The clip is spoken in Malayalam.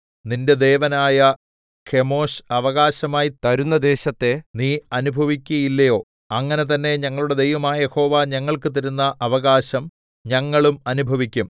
നിന്റെ ദേവനായ കെമോശ് അവകാശമായി തരുന്ന ദേശത്തെ നീ അനുഭവിക്കുകയില്ലയോ അങ്ങനെ തന്നെ ഞങ്ങളുടെ ദൈവമായ യഹോവ ഞങ്ങൾക്ക് തരുന്ന അവകാശം ഞങ്ങളും അനുഭവിക്കും